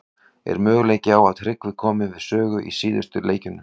Er möguleiki á að Tryggvi komi við sögu í síðustu leikjunum?